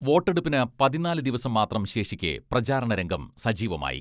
വോട്ടെടുപ്പിന് പതിനാല് ദിവസം മാത്രം ശേഷിക്കെ പ്രചാരണ രംഗം സജീവമായി.